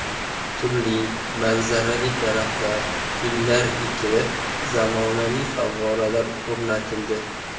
Turli manzarali daraxtlar, gullar ekilib, zamonaviy favvoralar o‘rnatildi.